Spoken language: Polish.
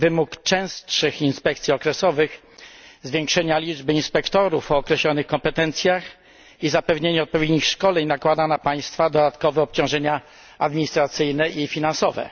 Wymóg częstszych inspekcji okresowych, zwiększenia liczby inspektorów o określonych kompetencjach i zapewnienia odpowiednich szkoleń nakłada na państwa dodatkowe obciążenia administracyjne i finansowe.